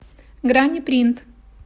грани принт